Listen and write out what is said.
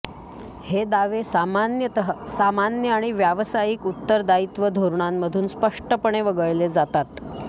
हे दावे सामान्यतः सामान्य आणि व्यावसायिक उत्तरदायित्व धोरणांमधून स्पष्टपणे वगळले जातात